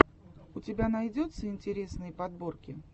у тебя найдется интересные подборки